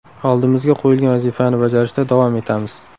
Oldimizga qo‘yilgan vazifani bajarishda davom etamiz.